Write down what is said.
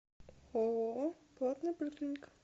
ооо платная поликлиника